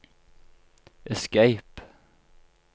escape